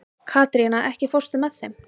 Katrína, ekki fórstu með þeim?